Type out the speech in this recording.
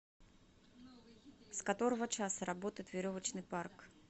с которого часа работает веревочный парк